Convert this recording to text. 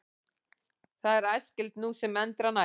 Það er æskilegt nú sem endranær.